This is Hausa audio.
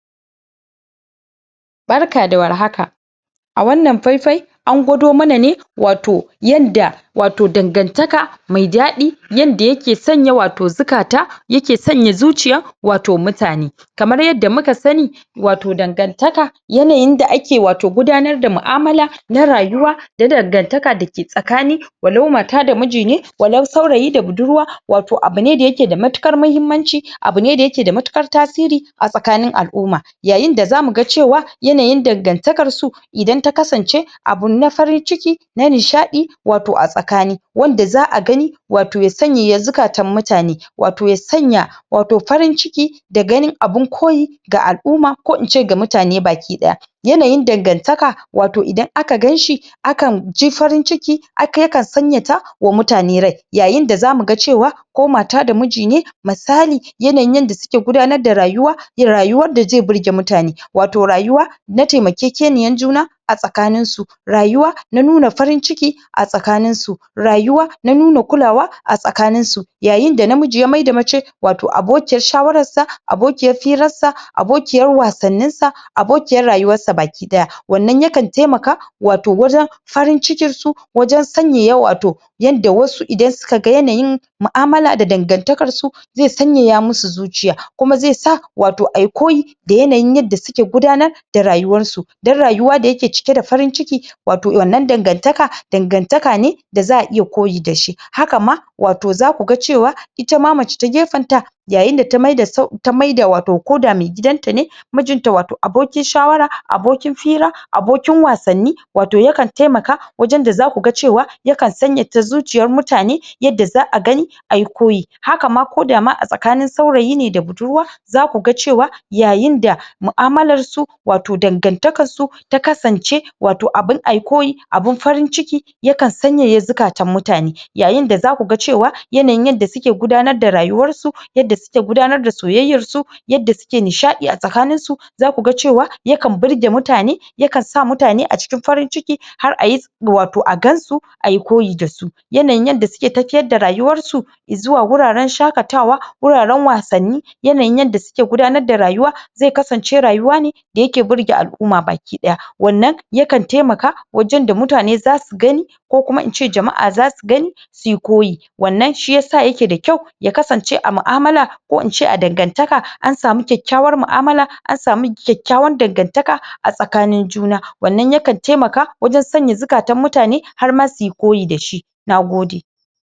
Wasu alamomi ne na gajiya Kuma tayaya Mutum zai gane ya gaji a jikinshi Ko a jikin wasu yan'uwa Ita dai gajiya wata hanya ce wanda take nunawa cewa mutum Jikinshi yana bukatar hutu Ana samun gajiya ne ta hanyar yawan yin aiki, aikace-aikace Aiki na jiki ko kuma aiki na kwakwalwa Daga zaran mutum yaji alamun cewa ya gaji Ko yaga alamun gajiya a tattare da mutane yakamata Ya naimar ma kanshi Mafita Ita gajiya ana samun tane ta hanyar yawan Aikace-aikace musamman ma, na yau da kullum Ko kuma zuwa wajen aiki musamman ma na kwakwalwa ko kuma lissafi Ita jiki dai tana bukatan Hutu ko kuma kwakwalwa ma tana bukatar hutu Rashin yin hutu ko kuma sanya wa jiki hutu yana sanyawa mutum jikinshi ya gaji Matakan da za'a bi wajen magance gajiya sun hada da, Yawan hutawa Yawan motsa jiki Bayan motsa jiki yawan samun bacci Da kuma cin abinci mai kwau Da kuma yawan kula da, Yanayin yanda abincin mutum, mutum yake cin Abinci Ana so mutum ya yawaita yin bacci ko kuma, Karatu A lokacin daya dace, Kuma aiki yakamata mutum ya tsara shi Yanda jikinshi Ko jikin wasu bazai Bazai bazai samu matsala bah Ita hutu tana da matukar mahimmanci a yayin da gajiya yakan jawo cuta cikin dan adam Wanda kan iya jawo hawan jini Ko kuma ya kawo wasu cuttutuka daban-daban Magance gajiya dai yana da matukar amfani a cikin rayuwar dan adam Musammman ma ta hanyar yin bacci Samun natsuwa Kwanciyar hankali Ta hnayar zuwa magana da dan uwa da abokanarziki da neman shawarwari Da kuma kallon abun barkonci Da kuma cire kai daga damuwa da kuma daga cire kai daga cikin fushi Yin hakan yana da matukar amfani wanda a yayin dan mutum idan yana yin hakan ne Zai zama gajiya ko kuma Jikinshi bazai samu Nau'i na gajiya bah Gajiya dai yana da matukar hatsari a jikin dan adam A yayin da idan mutum ya kasance kullum cikin gajiya yakan Sa, Mutum ya tsufa da wuri Kuma yakan sa damuwa ya yawaita a cikin jikinshi Magance gajiya da ya kamata a wayar da kan mutane su dinga amfani da hanyoyin da zasu magance gajiya musamman ma Hutawa da kuma shan maganin da zai magance masu gajiya